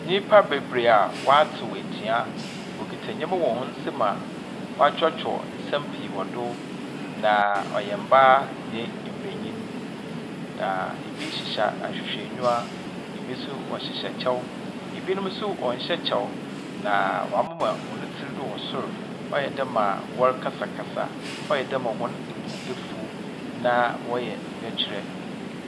Nnyimpa bebree a wɔatew atua. Wɔkita nnyɛma wɔ wɔn nsam mu a wɔakyerɛwkyerɛw nsɛm pii wɔ do. Na ɔyɛ mbaa nye mbanyin. Na ebi hyehyɛ ahwehwɛnyiwa. Ebi hyehyyɛ kyɛw. Ebinom nso wɔnhyɛ kyɛw. Na wamema wɔn tsir do wɔ sor. Ayɛ dɛ ma wɔrekasakasa. Ayɛ dɛ ma wɔn bo afuw. Na wɔyɛ nyɛkyerɛ.